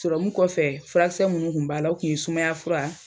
Sɔrɔmu kɔfɛ furakisɛ munnu tun b'a la o kun ye sumaya fura